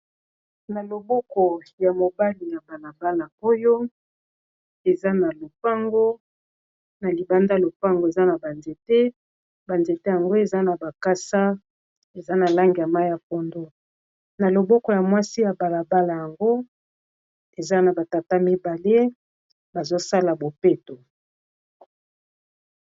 Na loboko ya mobali ya balabala , na libanda lopango eza na ba nzete yango eza na makasa eza na Langi ya mai ya pondo na loboko ya mwasi balabala yango eza na ba tata mibale bazosala bopeto.